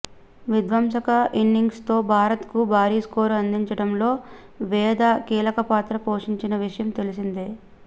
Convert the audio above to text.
విధ్వంసక ఇన్నింగ్స్తో భారత్కు భారీ స్కోరు అందించడంలో వేద కీలకపాత్ర పోషించిన విషయం తెలిసిందే